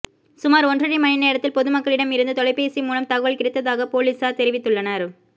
சுமார் ஒன்றரை மணி நேரத்தில் பொதுமக்களிடம் இருந்து தொலைபேசி மூலம் தகவல் கிடைத்ததாக பொலிசார் தெரிவித்துள்ளனர்